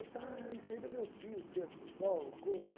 Ele disse, ah, isso aí é do meu tio, o terno do Sol, uma coisa.